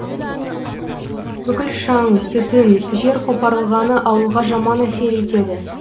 бүкіл шаң түтін жер қопарылғаны ауылға жаман әсер етеді